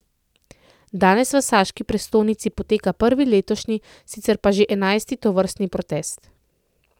Danes v saški prestolnici poteka prvi letošnji, sicer pa že enajsti tovrstni protest.